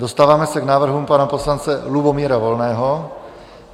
Dostáváme se k návrhům pana poslance Lubomíra Volného.